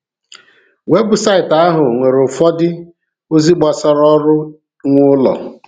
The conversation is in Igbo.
Webụsaịtị ahụ nwere ụfọdụ ozi gbasara ọrụ nwe ụlọ.